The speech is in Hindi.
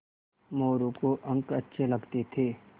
मोरू को अंक अच्छे लगते थे